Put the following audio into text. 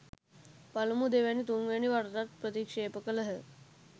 පළමු දෙවැනි තුන්වැනි වරටත් ප්‍රතික්‍ෂේප කළහ.